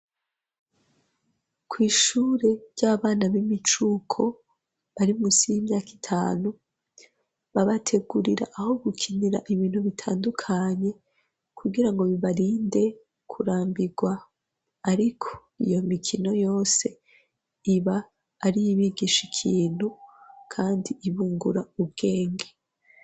kw'ishure ry'abana b'imicuko bari musi y'imyaka itanu, babategurira aho gukinira ibintu bitandukanye kugira ngo bibarinde kurambigwa, ariko iyo mikino yose iba ari iyibigisha ikintu kandi ibungura ubwenge.